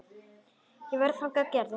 Ég væri þannig gerður.